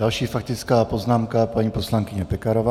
Další faktická poznámka paní poslankyně Pekarová.